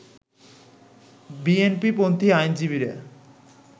বিএনপিপন্থি আইনজীবীরা